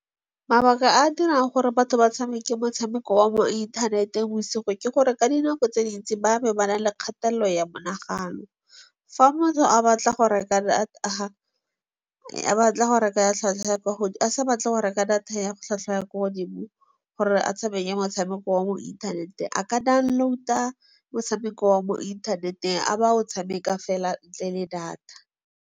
Mabaka a a dirang gore batho ba tshameke motshameko wa mo inthaneteng bosigo, ke gore ka dinako tse dintsi, ba be ba nale kgatelelo ya monagano. Fa motho a batla go reka data, a sa batle go reka data ya tlhwatlhwa ya kwa godimo gore a tshameke motshameko wa mo inthaneteng, a ka download-a motshameko wa mo inthaneteng a ba o tshameka fela ntle le data.